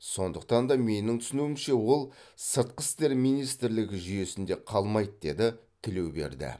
сондықтан да менің түсінуімше ол сыртқы істер министрлігі жүйесінде қалмайды деді тілеуберді